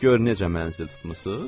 Gör necə mənzil tutmusuz?